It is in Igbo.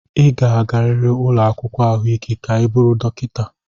Ị ga-agarịrị ụlọ akwụkwọ ahụike ka ị bụrụ dọkịta.